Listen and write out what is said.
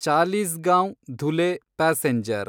Chalisgaon Dhule passenger